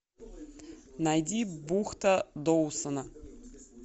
найди бухта доусона